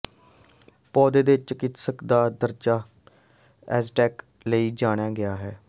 ਪੌਦੇ ਦੇ ਚਿਕਿਤਸਕ ਦਾ ਦਰਜਾ ਐਜ਼ਟੈਕ ਲਈ ਜਾਣਿਆ ਗਿਆ ਹੈ